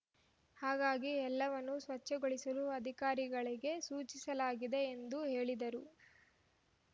ಹಾಗಾಗಿ ಎಲ್ಲವನ್ನೂ ಸ್ವಚ್ಛಗೊಳಿಸಲು ಅಧಿಕಾರಿಗಳಿಗೆ ಸೂಚಿಸಲಾಗಿದೆ ಎಂದು ಹೇಳಿದರು